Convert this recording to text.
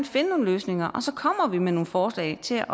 finde nogle løsninger og så kommer vi med nogle forslag til